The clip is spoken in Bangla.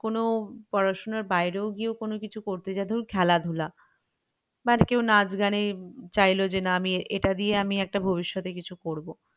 কোনো পড়াশোনার বাইরেও গিয়ে করতে গেলেও খেলাধুলা বা কেউ নাচ গানে চাইলো যে না আমি এটা দিয়ে ভবিষৎতে কিছু একটা করবো